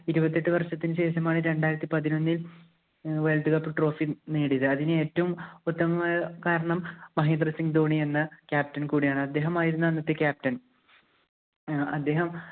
ഇരുപത്തിയെട്ട് വര്‍ഷത്തിനു ശേഷമാണ് രണ്ടായിരത്തി പതിനൊന്നില്‍ ഏർ world cup trophy നേടിയത്. അതിന് ഏറ്റവും ഉത്തമമായ കാരണം മഹേന്ദ്ര സിംഗ് ധോണി എന്ന captain കൂടിയാണ്. അദ്ദേഹമായിരുന്നു അന്നത്തെ captain.